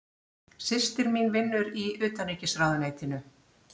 Systir mín vinnur í Utanríkisráðuneytinu.